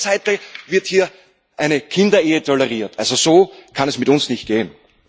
Auf der anderen Seite wird hier eine Kinderehe toleriert. Also, so kann es mit uns nicht gehen.